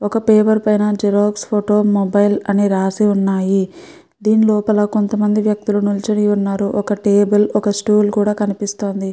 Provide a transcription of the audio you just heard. ఒక పేపర్ పైన photo mobile xerox అని రాసి ఉన్నాయి. దీని లోపల కొంతమంది వ్యక్తులు నించుని ఉన్నారు. ఒక టెబుల్ ఒక స్టూల్ కూడా కనిపిస్తోంది.